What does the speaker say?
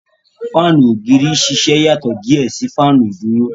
Fáànù ògiri ṣẹṣẹ iyatọ diẹ sí Fáànù iduro